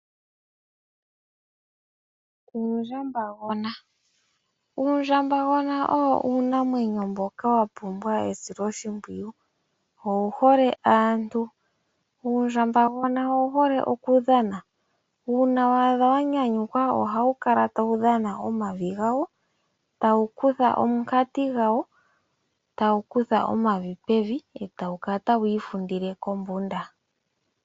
Uundjambagona. Uundjambagona owo uunamwenyo mboka wapumbwa esiloshimpwiyu. Owu hole aantu. Uundjambagona owu hole okudhana. Uuna waadha wanyanyukwa, ohawu kala tawu dhana omavi gawo, e tawu kutha omankoti gawo tawu kutha omavi pevi, e tawu kala tawu ifundile kombunda.